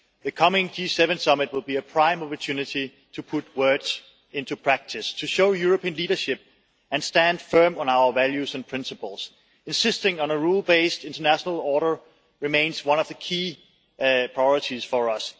The upcoming G7 summit will be a prime opportunity to put words into practice, to show European leadership and to stand firm on our values and principles, insisting that a rule-based international order remains one of the key priorities for us.